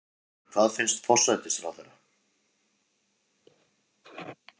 En hvað finnst forsætisráðherra?